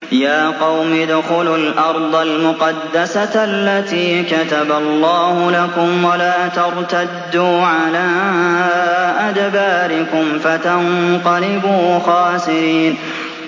يَا قَوْمِ ادْخُلُوا الْأَرْضَ الْمُقَدَّسَةَ الَّتِي كَتَبَ اللَّهُ لَكُمْ وَلَا تَرْتَدُّوا عَلَىٰ أَدْبَارِكُمْ فَتَنقَلِبُوا خَاسِرِينَ